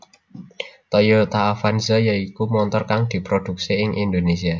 Toyota Avanza ya iku montor kang diprodhuksi ing Indonésia